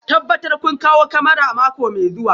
Tabbatar kun kawo kyamarar mako mai zuwa